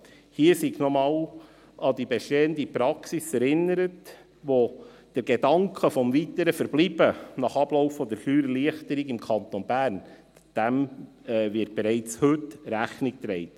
Hier sei nochmals an die bestehende Praxis erinnert, die dem Gedanken des weiteren Verbleibens nach Ablauf der Steuererleichterung im Kanton Bern bereits heute Rechnung trägt.